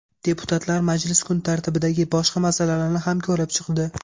Deputatlar majlis kun tartibidagi boshqa masalalarni ham ko‘rib chiqdi.